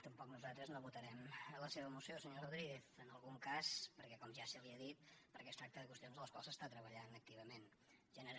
tampoc nosaltres no votarem la seva moció senyor rodríguez en algun cas perquè com ja se li ha dit es tracta de qüestions en les quals s’està treballant activament